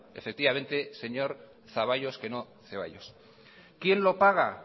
quién lo paga